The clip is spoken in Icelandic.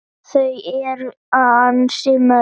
Þau eru ansi mörg.